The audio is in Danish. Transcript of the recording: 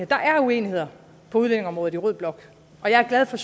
der er uenigheder på udlændingeområdet i rød blok og jeg er glad for